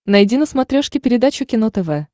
найди на смотрешке передачу кино тв